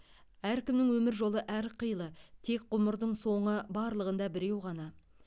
әркімнің өмір жолы әрқилы тек ғұмырдың соңы барлығында біреу ғана